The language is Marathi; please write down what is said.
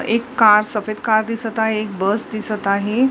एक कार सफेद कार दिसत आहे एक बस दिसत आहे.